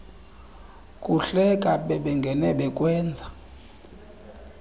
kuhleka bebengene bekwenza